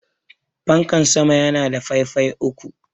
fankan sama yana da faifayi uku